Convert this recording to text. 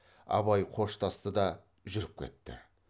абай қоштасты да жүріп кетті